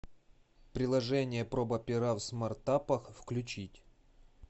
приложение проба пера в смартапах включить